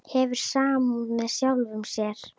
Hefur samúð með sjálfum sér.